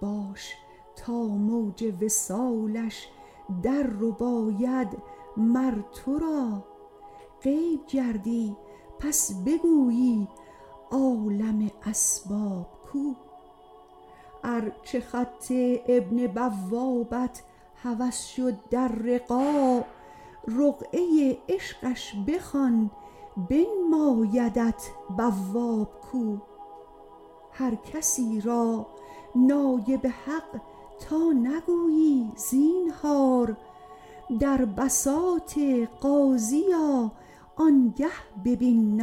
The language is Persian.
باش تا موج وصالش دررباید مر تو را غیب گردی پس بگویی عالم اسباب کو ار چه خط این بوابت هوس شد در رقاع رقعه عشقش بخوان بنمایدت بواب کو هر کسی را نایب حق تا نگویی زینهار در بساط قاضی آ آنگه ببین